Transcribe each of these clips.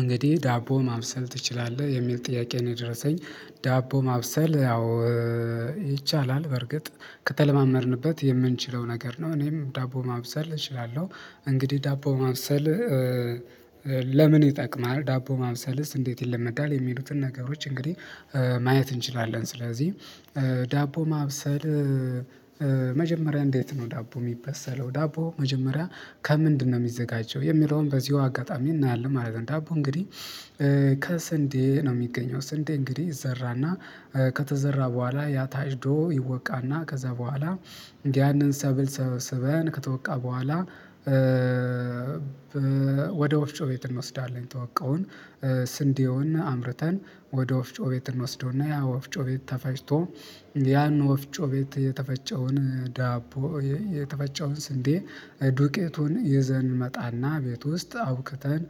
እንግዲህ ዳቦ ማብሰል ትችላለህ የሚል ጥያቄ ነው የደረሰኝ? ዳቦ ማብሰል ያው ይቻላል በርግጥ ከተለማመድንበት የምንችለው ነገር ነው። እኔም ዳቦ ማብሰል እችላለሁ። እንግዲህ ዳቦ ማብሰል። ለምን ይጠቅማል ዳቦ ማብሰልስ እንዴት ይለመዳል? የሚሉትን ነገሮች እንግዲህ ማየት እንችላለን። ስለዚህ ዳቦ ማብሰል። መጀመሪያ እንዴት ነው? ዳቦ የሚበሰለው ዳቦ መጀመሪያ ከምንድነው የሚዘጋጀው የሚለውን በዚሁ አጋጣሚ እናያለን ማለት ነው። ዳቦ እንግዲህ ከስንዴ ነው የሚገኘው። ስንዴ እንግዲህ ይዘራና ከተዘራ በኋላ ያ ታጭዶ ይወቃና ከዛ በኋላ ያንን ሰብል ሰብስበን ከተወቃ በኋላ። ወደ ወፍጮ ቤት እንወስዳለን። የተወቀውን ስንዴውን አምርተን ወደ ወፍጮ ቤት እንወስደውና ያ ወፍጮ ቤት ተፈጭቶ። ያን ወፍጮ ቤት የተፈጨውን ዳቦ የተበጨውን ስንዴ ዱቄቱን ይዘን እንመጣና ቤት ውስጥ አውክተን።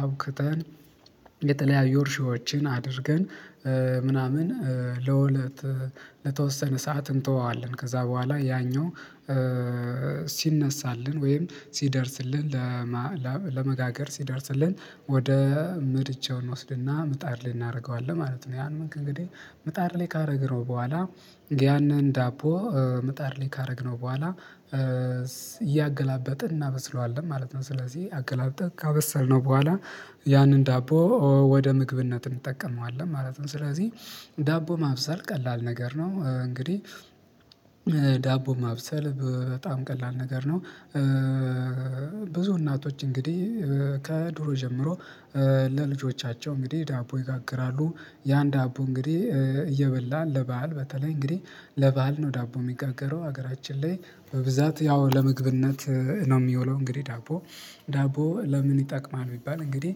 አቡክተን የተለያዩ እርሾዎችን አድርገን ምናምን ለወለት ለተወሰነ ሰዓት እንተወዋለን። ከዛ በኋላ ያኛው ሲነሳልን ወይም ሲደርስልን። ለመጋገር ሲደርስልን ወደ ምርጫው እንወስድና ምጣድ ላይ እናደርገዋለን ማለት ነው። ያን ምንግድ እንግዲህ ምጣድ ላይ ካደረግነው በኋላ ያንን ዳቦ ምጣር ላይ ካደረግነው በኋላ። እያገላበጥን እናበስለዋለን ማለት ነው። ስለዚህ አገላብጠን ካበሰልነው በኋላ ያንን ዳቦ ወደ ምግብነት እንጠቀመዋለን ማለት ነው። ስለዚህ ዳቦ ማብሰል ቀላል ነገር ነው። እንግዲህ ዳቦ ማብሰል በጣም ቀላል ነገር ነው። ብዙ እናቶች እንግዲህ ከድሮ ጀምሮ ለልጆቻቸው እንግዲህ ዳቦ ይጋግራሉ። ያን ዳቦ እንግዲህ እየበላን ለባህል በተለይ እንግዲህ ለባህል ነው ዳቦ የሚጋገረው ሀገራችን ላይ በብዛት ያው ለመግብነት ነው የሚውለው። እንግዲህ ዳቦ ዳቦ ለምን ይጠቅማል? ቢባል እንግዲህ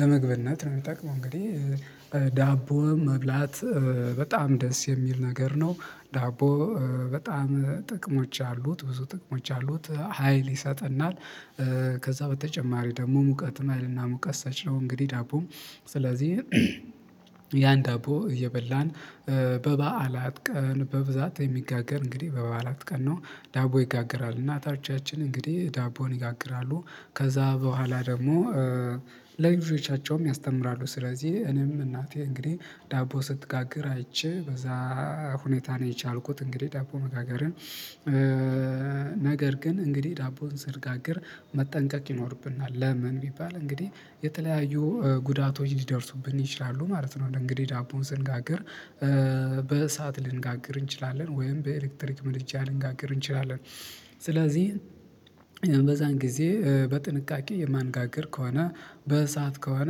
ለምግበነት ነው የሚጠቅመው። እንግዲህ ዳቦም መብላት በጣም ደስ የሚል ነገር ነው። ዳቦ በጣም ጥቅሞች አሉት ብዙ ጥቅሞች አሉት ሀይል ይሰጠናል። ከዛ በተጨማሪ ደግሞ ሙቀትም ሀይልና ሙቀት ሳች ነው። እንግዲህ ዳቦ ስለዚህ ያን ዳቦ እየበላን በበዓላት ቀን በብዛት የሚጋገር እንግዲህ በበዓላት ቀን ነው። ዳቦ ይጋግራል እና እናቶቻችን እንግዲህ ዳቦን ይጋግራሉ። ከዛ በኋላ ደግሞ ልጆቻቸውም ያስተምራሉ። ስለዚህ እኔም እናቴ እንግዲህ ዳቦ ስትጋግር አይቼ በዛ ሁኔታ ነው የቻልኩት እንግዲህ ዳቦ መጋገርን። ነገር ግን እንግዲህ ዳቦን ስንጋግር መጠንቀቅ ይኖርብናል። ለምን ቢባል እንግዲህ የተለያዩ ጉዳቶች ሊደርሱብን ይችላሉ። ማለት ነው። እንግዲህ ዳቦን ስንጋግር በእሳት ልንጋግር እንችላለን ወይም በኤሌክትሪክ መድጃ ልንጋግር እንችላለን። ስለዚህ በዛን ጊዜ በጥንቃቄ የማንጋግር ከሆነ በእሳት ከሆነ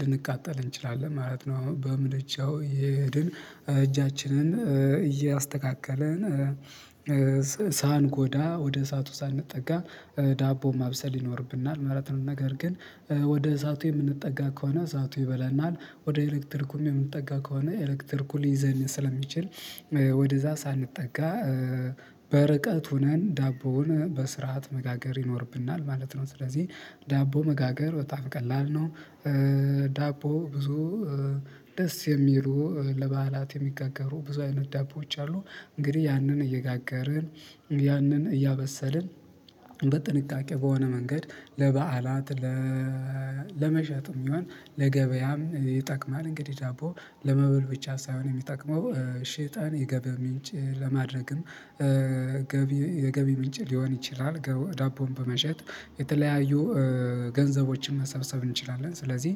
ልንቃጠል እንችላለን ማለት ነው። በምድጃው እየሄድን እጃችንን እያስተካከለን ሳንጎዳ ወደ እሳቱ ሳንጠጋ ዳቦ ማብሰል ይኖርብናል ማለት ነው። ነገር ግን ወደ እሳቱ የምንጠጋ ከሆነ እሳቱ ይበለናል። ወደ ኤሌክትሪኩም የምንጠጋ ከሆነ ኤሌክተርኩ ሊይዘን ስለሚችል ወደዛ ሳንጠጋ በርቀት ሆነን ዳቦውን በስርዓት መጋገር ይኖርብናል። ማለት ነው። ስለዚህ ዳቦ መጋገር በጣም ቀላል ነው። ዳቦ ብዙ ደስ የሚሉ ለበዓላት የሚጋጋሩ ብዙ አይነት ዳቦዎች አሉ። እንግዲህ ያንን እየጋገርን ያንን እያበሰልን በጥንቃቄ በሆነ መንገድ ለበዓላት ለመሸጥም ይሆን ለገበያም ይጠቅማል። እንግዲህ ዳቦ ለመበል ብቻ ሳይሆን የሚጠቅመው ሸጠን የገቢ ምንጭ ለማድረግም የገቢ ምንጭ ሊሆን ይችላል። ዳቦን በመሸጥ የተለያዩ ገንዘቦችን መሰብሰብ እንችላለን። ስለዚህ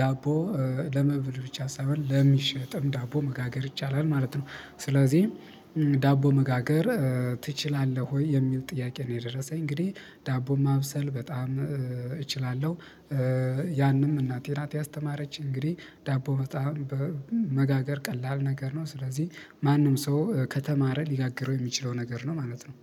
ዳቦ ለመብል ብቻ ሳይሆን ለሚሸጥም ዳቦ መጋገር ይቻላል ማለት ነው። ስለዚህ ዳቦ መጋገር ትችላለህ? ወይ የሚል ጥያቄ ነው። የደረሰኝ እንግዲህ ዳቦ ማብሰል በጣም እችላለሁ። ያንም እናቴ ናት ያስተማረች እንግዲህ ዳቦ በጣም በመጋገር ቀላል ነገር ነው። ስለዚህ ማንም ሰው ከተማረ ሊጋግረው የሚችለው ነገር ነው። ማለት ነው